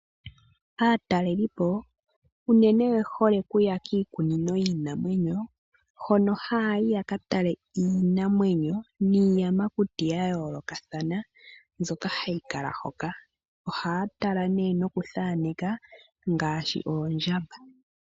Aataleliipo unene oye hole okuya kiikunino yiinamwenyo hono haya yi yaka tale iinamwenyo niiyamakuti yayoolokathana mbyoka hayi kala hoka. Ohaya tala nee nokuthaaneka ngaashi oondjamba.